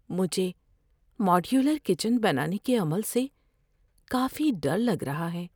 مجھے modular kitchen بنانے کے عمل سے کافی ڈر لگ رہا ہے۔